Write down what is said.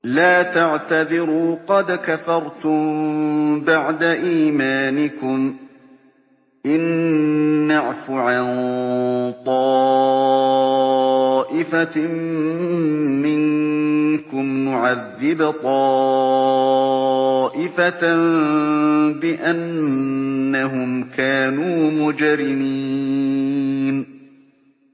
لَا تَعْتَذِرُوا قَدْ كَفَرْتُم بَعْدَ إِيمَانِكُمْ ۚ إِن نَّعْفُ عَن طَائِفَةٍ مِّنكُمْ نُعَذِّبْ طَائِفَةً بِأَنَّهُمْ كَانُوا مُجْرِمِينَ